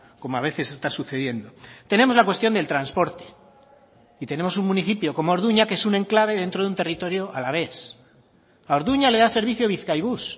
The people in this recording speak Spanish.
como a veces está sucediendo tenemos la cuestión del transporte y tenemos un municipio como orduña que es un enclave dentro de un territorio alavés a orduña le da servicio bizkaibus